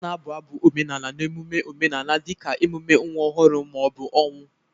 A na-abụ abụ omenala n'emume omenala dị ka emume nwa ọhụrụ ma ọ bụ ọnwụ.